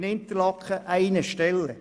In Interlaken betrifft dies eine Stelle.